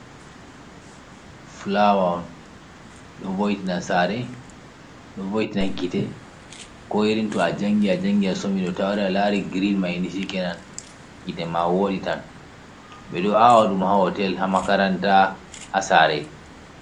Fulawa on ɗo voitina sare, ɗo voitina gite. ko irinto a jangi a jangi a somi to a wari a lari girin mai chikenan gite ma wodi tan. Ɓe ɗo awadum ha hotel, hamakaranta, ha sare.